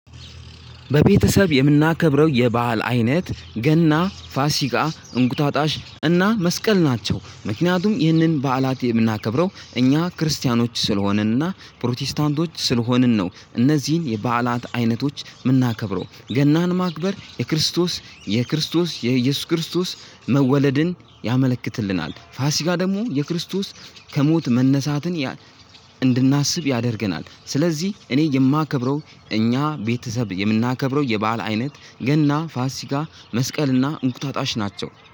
በቤተሰብ የምናከብረው የባህል አይነት ገና ፋሲካ እንቁጣጣሽ እና መስቀል ናቸው ምክንያቱም ይህንን በዓላት የምናከብረው እኛ ክርስቲያኖች ስለሆንን እና ፕሮቴስታንቶች ስለሆንን ነው። እነዚህን የበዓላት አይነቶች ምናከብረው ገናን ማክበር የክርስቶስ በቤተሰብ የምናከብረው የባህል አይነት ገና ፋሲካ እንቁጣጣሽ እና መስቀል ናቸው። ምክንያቱም ይህንን በዓላት የምናከብረው እኛ ክርስቲያኖች ስለሆንን እና ፕሮቴስታንቶች ስለሆንን ነው። እነዚህን የበዓላት አይነቶች ምናከብረው ገናን ማክበር የክርስቶስ መወለድን ያመልክትልናል። ፋሲካ ደሞ የክርስቶስ ከሞት መነሳትን እንድናስብ ያደርገናል። ስለዚህ እኔ የማከብረው እኛ ቤተሰብ የምናከብረው የበአል አይነት ገና ፋሲካ መስቀል እንቁጣጣሽ ናቸው።